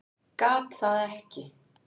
Gat það ekki.